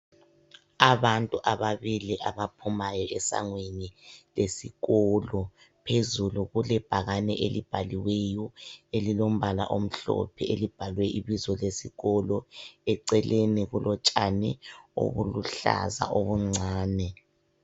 Abantu ababili abaphumayo esangweni lesikolo, phezulu kule bhakane elibhaliweyo elilombala omhlophe elibhalwe ibizo lesikolo ,eceleni kulotshana obuluhlaza obuncane.